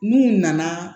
N'u nana